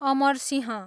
Amarsingh